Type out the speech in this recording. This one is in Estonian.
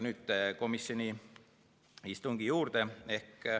Nüüd komisjoni istungi juurde.